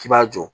K'i b'a jɔ